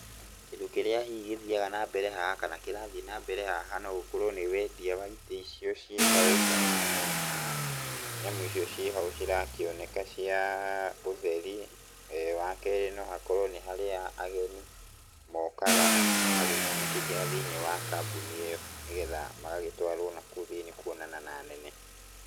Kĩndũ kĩrĩa hihi gĩthiaga na mbere haha, kana kĩrathiĩ na mbere haha nogũkorwo hihi nĩ wendia wa itĩ icio ciĩ hau kana nyamũ icio ciĩ hau cirakĩoneka cia ũtheri. Wakerĩ no hakorwo nĩ harĩa ageni mokaga makĩingĩra thĩiniĩ wa kambuni ĩyo nĩgetha magagĩtwarwo nakũu thĩiniĩ kuonana na anene.